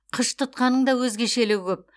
қыш тұтқаның да өзгешелігі көп